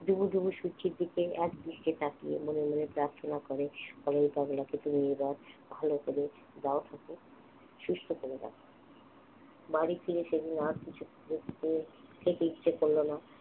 ডুবু ডুবু সূর্যের দিকে একদৃস্টে তাকিয়ে মনে মনে প্রার্থনা করে বলাই পাগলা কে তুমি এবার ভালো করে দাও ঠাকুর সুস্থ করে দাও বাড়ি ফিরে সেদিন আর কিছু খেতে ইচ্ছা করলো না